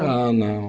Ah, não.